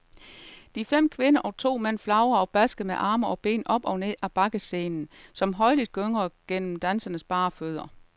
De fem kvinder og to mænd flagrer og basker med arme og ben op og ned ad bakkescenen, som højlydt gungrer under dansernes bare fødder.